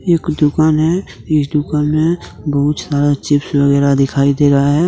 एक दुकान है इस दुकान में बहुत सारा चिप्स वगैरा दिखाई दे रहा है।